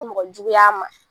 Mɔgɔjugu y'a ma.